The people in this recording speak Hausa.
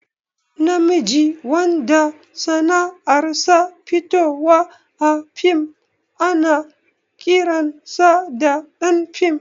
Na miji wanda sanar sa fitowa a fim ana ƙiran sa ɗan fim